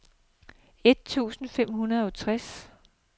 et tusind fem hundrede og tretten